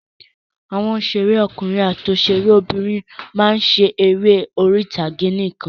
Àwọn òṣèré ọkùnrin àti òṣèré obìnrin máa ń ṣe eré orí ìtàgé nìkan.